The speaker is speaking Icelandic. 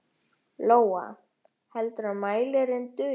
Lóa: Heldurðu að mælirinn dugi?